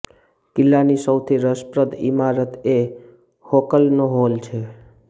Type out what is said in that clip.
કિલ્લાની સૌથી રસપ્રદ ઇમારત એ હોકલનો હોલ છે